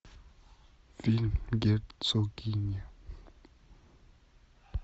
фильм герцогиня